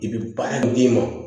I bɛ baara in d'i ma